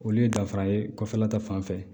Olu ye danfara ye kɔfɛla ta fanfɛ